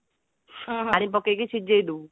ପାଣି ପକେଇକି ସିଝେଇ ଦେବୁ